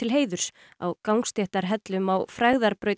heiðurs á gangstéttarhellum á